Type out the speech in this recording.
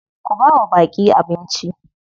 Ku bawa baƙi abnici.